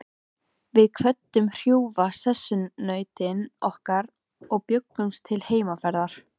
Við kvöddum hrjúfa sessunautinn okkar og bjuggumst til heimferðar.